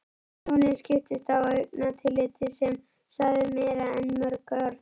Hjónin skiptust á augnatilliti sem sagði meira en mörg orð.